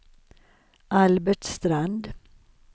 Albert Strand